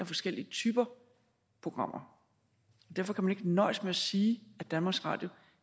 forskellige typer af programmer derfor kan man ikke nøjes med at sige at danmarks radio